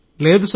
లేదు సార్